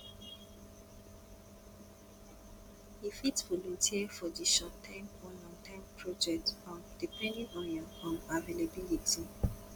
you fit volunteer for di shortterm or longterm project um depending on your um availability